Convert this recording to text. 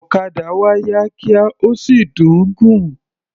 Òkadà wa yá kíá, ó sì dùn ún gùn.